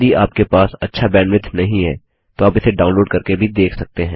यदि आपके पास अच्छा बैन्डविड्थ नहीं है तो आप इसे डाउनलोड़ करके भी देख सकते हैं